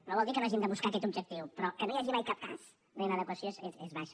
no vol dir que no hàgim de buscar aquest objectiu però que no hi hagi mai cap cas d’inadequació és baixa